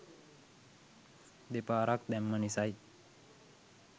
දෙපාරක් දැම්ම නිසයි